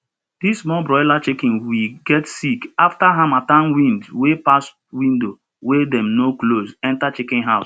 di small broiler chiken we get sick afta harmattan wind wey pass window wey dem no close enter chiken house